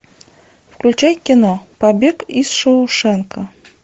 включай кино побег из шоушенка